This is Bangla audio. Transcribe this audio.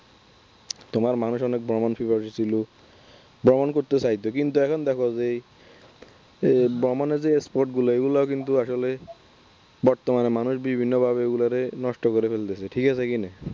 তোমার মানুষ অনেক ভ্রমণ পিপাসু ছিল ভ্রমণ করতে চাইতো। কিন্তু এখন দেখো যেই এই ভ্রমনের যে spot গুলো এগুলো কিন্তু আসলে বর্তমানে মানুষ বিভিন্নভাবে এগুলোরে নষ্ট করে ফেলতেছে ঠিক আছে কি না